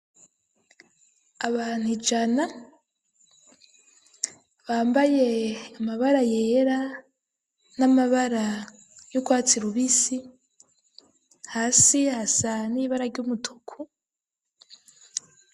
Abantu ijana, bambaye amabara yera, n'amabara y'urwatsi rubisi; hasi hasa n' ibara ry'umutuku.